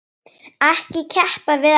Ekki keppt við alla?